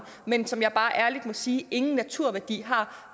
men som jeg bare ærligt må sige ingen naturværdi har